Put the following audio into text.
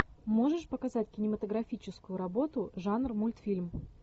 можешь показать кинематографическую работу жанр мультфильм